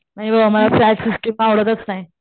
नाही बाबा मला फ्लॅट सिस्टिम आवडतच नाही.